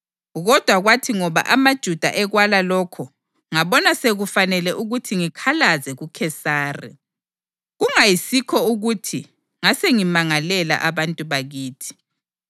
Kodwa kwathi ngoba amaJuda ekwala lokho ngabona sekufanele ukuthi ngikhalaze kuKhesari; kungayisikho ukuthi ngasengimangalela abantu bakithi.